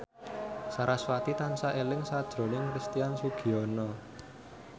sarasvati tansah eling sakjroning Christian Sugiono